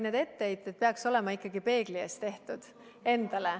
Need etteheited peaks olema ikkagi peegli ees tehtud, endale.